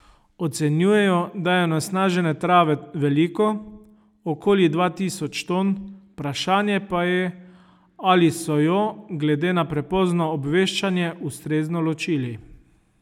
Ocenjujejo, da je onesnažene trave veliko, okoli dva tisoč ton, vprašanje pa je ali so jo, glede na prepozno obveščanje, ustrezno ločili.